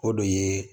O de ye